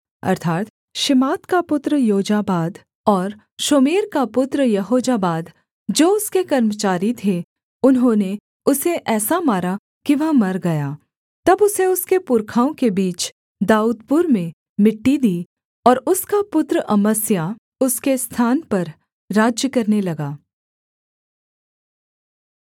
अर्थात् शिमात का पुत्र योजाबाद और शोमेर का पुत्र यहोजाबाद जो उसके कर्मचारी थे उन्होंने उसे ऐसा मारा कि वह मर गया तब उसे उसके पुरखाओं के बीच दाऊदपुर में मिट्टी दी और उसका पुत्र अमस्याह उसके स्थान पर राज्य करने लगा